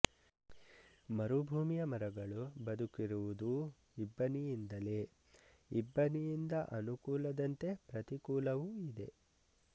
ಮರುಭೂಮಿಯ ಮರಗಳು ಬದುಕಿರುವುದೂ ಇಬ್ಬನಿಯಿಂದಲೇ ಇಬ್ಬನಿಯಿಂದ ಅನುಕೂಲದಂತೆ ಪ್ರತಿಕೂಲವೂ ಇದೆ